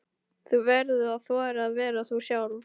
Þú verður að þora að vera þú sjálf.